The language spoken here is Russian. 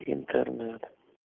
интернет